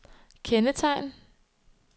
kendetegn